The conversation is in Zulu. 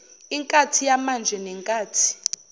inkathi yamanje nenkathi